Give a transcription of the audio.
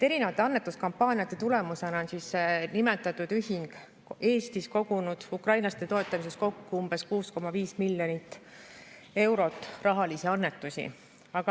Erinevate annetuskampaaniate tulemusena on nimetatud ühing Eestis kogunud ukrainlaste toetamiseks kokku umbes 6,5 miljonit eurot rahalisi annetusi.